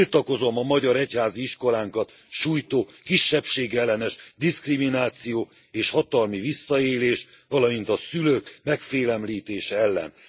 Tiltakozom a magyar egyházi iskolánkat sújtó, kisebbségellenes diszkrimináció és hatalmi visszaélés, valamint a szülők megfélemlítése ellen.